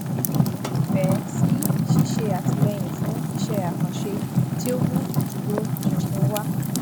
ó nífẹẹ sí ṣíṣe àtìlẹyìn fún isẹ àkànṣe tí ó mú ìdúró ṣinṣin wá